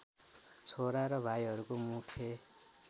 छोरा र भाइहरूको मुख्य